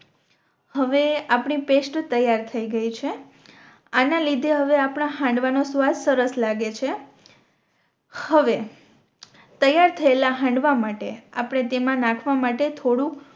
હવે આપણી પેસ્ટ તૈયાર થઈ ગઈ છે આના લીધે હવે આપણાં હાંડવા નો સ્વાદ સરસ લાગે છે હવે તૈયાર થયેલા હાંડવા માટે આપણે તેમા નાખવા માટે થોડુક